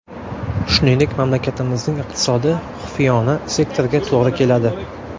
Shuningdek, mamlakatimizning iqtisodi xufiyona sektorga to‘g‘ri keladi.